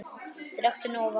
Drekktu nóg af vatni.